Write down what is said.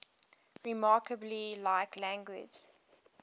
remarkably like language